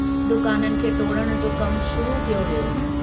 दुकाननि खे टोड़ण जो कमु शुरू कयो वियो।